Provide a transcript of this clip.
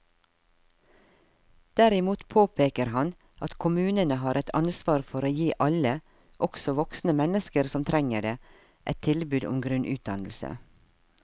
Derimot påpeker han at kommunene har et ansvar for å gi alle, også voksne mennesker som trenger det, et tilbud om grunnutdannelse.